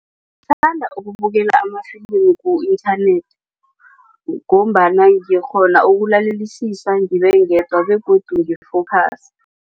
Ngithanda ukubukela amafilimi ku-internet ngombana ngikghona ukulalelisisa begodu ngibe ngedwa ngi-focus.